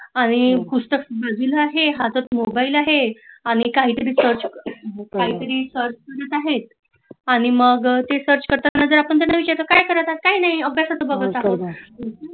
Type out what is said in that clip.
आणि पुस्तक बाजूला आहे, हातात मोबाइल आहे आणि काही तरी सर्च करत आहे आणि मग ते सर्च करता करता आपण जर त्यांना विचारल काय करत आहात काही नाही अभ्यासाच बागत आहोत